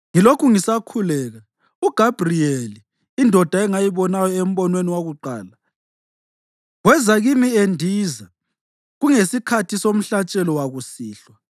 ngilokhu ngisakhuleka, uGabhriyeli, indoda engayibonayo embonweni wokuqala, weza kimi endiza kungesikhathi somhlatshelo wakusihlwa.